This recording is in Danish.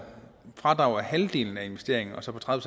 fradrag for halvdelen af investeringen og så på tredive